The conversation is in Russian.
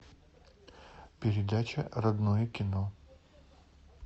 передача родное кино